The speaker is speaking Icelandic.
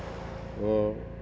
og